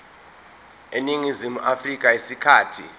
eningizimu afrika isikhathi